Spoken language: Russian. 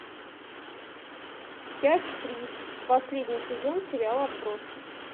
часть три последний сезон сериала отбросы